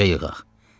Necə yığaq?